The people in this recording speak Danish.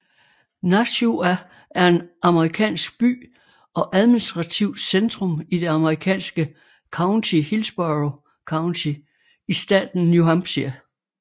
Nashua er en amerikansk by og administrativt centrum i det amerikanske county Hillsborough County i staten New Hampshire